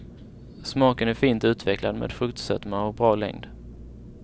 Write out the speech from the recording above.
Smaken är fint utvecklad med fruktsötma och bra längd.